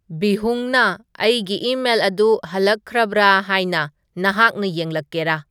ꯕꯤꯍꯨꯡꯅ ꯑꯩꯒꯤ ꯏꯃꯦꯜ ꯑꯗꯨ ꯍꯜꯂꯛꯈ꯭ꯔꯕ꯭ꯔꯥ ꯍꯥꯏꯅ ꯅꯍꯥꯛꯅ ꯌꯦꯡꯂꯛꯀꯦꯔꯥ